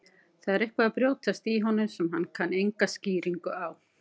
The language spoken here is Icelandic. Það er eitthvað að brjótast í honum sem hann kann enga skýringu á.